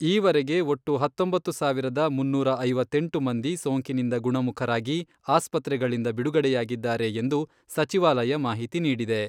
ಈವರೆಗೆ ಒಟ್ಟು ಹತ್ತೊಂಬತ್ತು ಸಾವಿರದ ಮುನ್ನೂರ ಐವತ್ತೆಂಟು ಮಂದಿ ಸೋಂಕಿನಿಂದ ಗುಣಮುಖರಾಗಿ ಆಸ್ಪತ್ರೆಗಳಿಂದ ಬಿಡುಗಡೆಯಾಗಿದ್ದಾರೆ ಎಂದು ಸಚಿವಾಲಯ ಮಾಹಿತಿ ನೀಡಿದೆ.